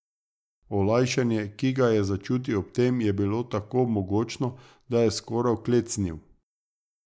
Olajšanje, ki ga je začutil ob tem, je bilo tako mogočno, da je skoraj klecnil.